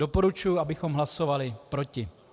Doporučuji, abychom hlasovali proti.